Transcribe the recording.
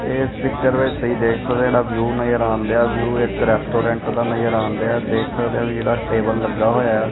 ਇਸ ਪਿਕਚਰ ਵਿੱਚ ਤੁਸੀਂ ਦੇਖ ਸਕਦੇ ਜਿਹੜਾ ਵਿਊ ਨਜ਼ਰ ਆਉਂਦੇ ਆ ਵਿਊ ਇੱਕ ਰੈਸਟੋਰੈਂਟ ਦਾ ਨਜ਼ਰ ਆਂਦੇ ਆ ਦੇਖ ਸਕਦੇ ਆ ਜਿਹੜਾ ਟੇਬਲ ਲੱਗਾ ਹੋਇਆ।